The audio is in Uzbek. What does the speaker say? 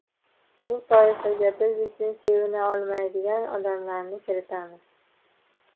Bu toifaga biz uchun sevina olmaydigan odamlarni kiritamiz.